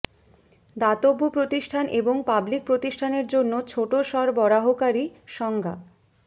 দাতব্য প্রতিষ্ঠান এবং পাবলিক প্রতিষ্ঠানের জন্য ছোট সরবরাহকারী সংজ্ঞা